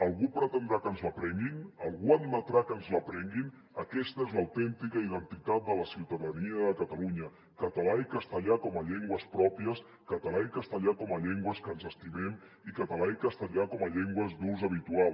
algú pretendrà que ens la prenguin algú admetrà que ens la prenguin aquesta és l’autèntica identitat de la ciutadania de catalunya català i castellà com a llengües pròpies català i castellà com a llengües que ens estimem i català i castellà com a llengües d’ús habitual